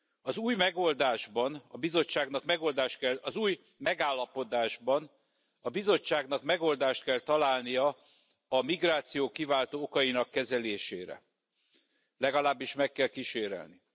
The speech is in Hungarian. Az új megoldásban a Bizottságnak megoldás kell az új megállapodásban a Bizottságnak megoldást kell találnia a migráció kiváltó okainak kezelésére, legalábbis meg kell kísérelni.